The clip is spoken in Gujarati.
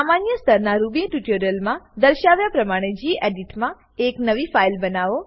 સામાન્ય સ્તરનાં રૂબી ટ્યુટોરીયલમાં દર્શાવ્યા પ્રમાણે ગેડિટ માં એક નવી ફાઈલ બનાવો